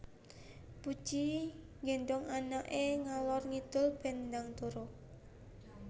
Puji nggendong anak e ngalor ngidul ben ndang turu